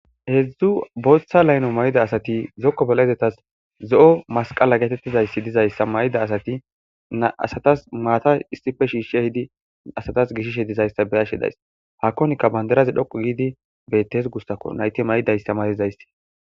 hedzdzu booththa layno may7ida asati zokko balaezetas zo7o masqala getettizayssi dizayssa mayida asati aasatas maata issife shiishshi hidi asatas gishishe dizayssa beyashe days hakonkka bandaraze dhoqu giidi bettes gussako nayte may7ida istemarizaysti